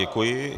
Děkuji.